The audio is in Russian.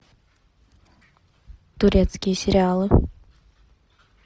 турецкие сериалы